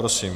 Prosím.